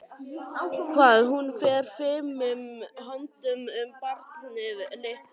Hvað hún fer fimum höndum um barnið litla.